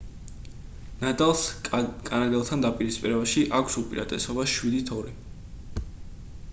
ნადალს კანადელთან დაპირისპირებაში აქვს უპირატესობა 7-2